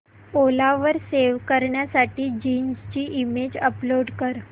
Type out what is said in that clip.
ओला वर सेल करण्यासाठी जीन्स ची इमेज अपलोड कर